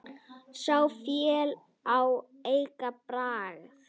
Sá féll á eigin bragði!